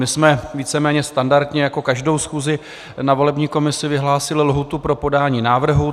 My jsme víceméně standardně jako každou schůzi na volební komisi vyhlásili lhůtu pro podání návrhu.